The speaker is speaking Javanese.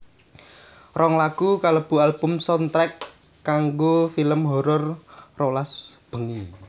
Rong lagu kalebu album soundtrack kanggo film horor rolas bengi